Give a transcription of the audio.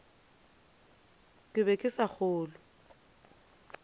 ke be ke sa kgolwe